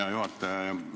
Hea juhataja!